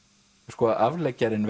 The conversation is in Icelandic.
sko afleggjarinn